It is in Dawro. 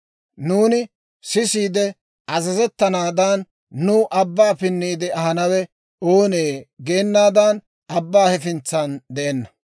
‹Nuuni sisiide azazettanaadan, nuw abbaa pinniide ahanawe oonee?› geenaadan abbaa hefintsan de'enna.